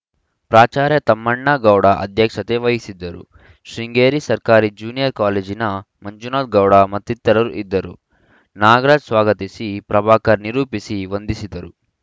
ಪ್ರಾಚಾರ್ಯ ತಮ್ಮಣ್ಣ ಗೌಡ ಅಧ್ಯಕ್ಷತೆ ವಹಿಸಿದ್ದರು ಶೃಂಗೇರಿ ಸರ್ಕಾರಿ ಜ್ಯೂನಿಯರ್‌ ಕಾಲೇಜಿನ ಮಂಜುನಾಥ ಗೌಡ ಮತ್ತಿತರರು ಇದ್ದರು ನಾಗರಾಜ್‌ ಸ್ವಾಗತಿಸಿ ಪ್ರಭಾಕರ್‌ ನಿರೂಪಿಸಿ ವಂದಿಸಿದರು